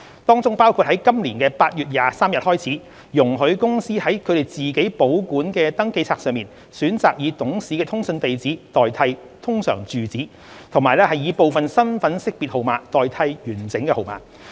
當中包括於今年8月23日開始，容許公司在它們自行保管的登記冊上選擇以董事的通訊地址代替通常住址，及以部分身份識別號碼代替完整號碼。